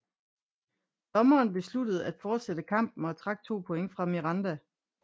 Dommeren besluttede at fortsætte kampen og trak to point fra Miranda